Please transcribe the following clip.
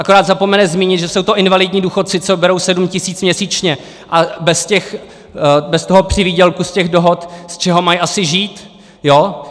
Akorát zapomene zmínit, že jsou to invalidní důchodci, co berou 7 tisíc měsíčně, a bez toho přivýdělku z těch dohod, z čeho mají asi žít!